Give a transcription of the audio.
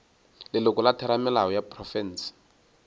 leloko la theramelao ya profense